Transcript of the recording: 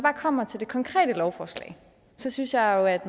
kommer til det konkrete lovforslag synes jeg jo at